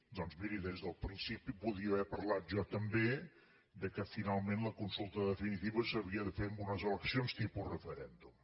doncs miri des del principi podia haver parlat jo també que finalment la consulta definitiva s’havia de fer amb unes eleccions tipus referèndum